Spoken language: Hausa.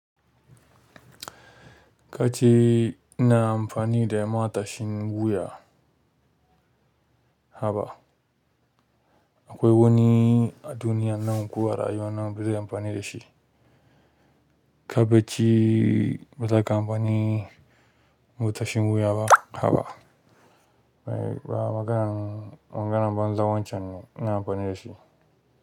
Kace ina amfani da matashin wuya haba. Akwai wani a duniya nan kuwa rayuwa nan bazai amfani da shi. Ka becci ba zaka amfani mutashin wuya ba haba. Ba maganan maganan banza wancan ne ina amfani dashi.